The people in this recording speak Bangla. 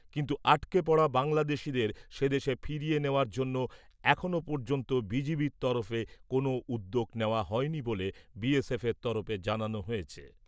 কিন্তু আটকে পড়া বাংলাদেশীদের সে দেশে ফিরিয়ে নেওয়ার জন্য এখনও পর্যন্ত বিজিবির তরফে কোনও উদ্যোগ নেওয়া হয়নি বলে বিএসএফের তরফে জানানো হয়েছে।